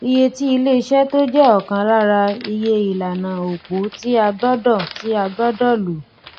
iye tí ilé iṣé tó jẹ ọkan lára iye ìlànà opo tí a gbọdọ tí a gbọdọ lò